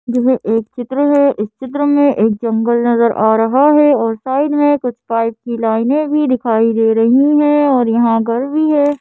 यह एक चित्र है इस चित्र में एक जंगल नजर आ रहा है और साइड में कुछ पाइप किनारे भी दिखाई दे रहे हैं और यहां गांव भी है।